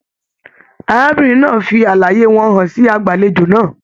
Arábìnrin náà fí àlàyé wọn hàn sí agbalejo náà.